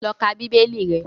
Lọ ka Bíbélì rẹ!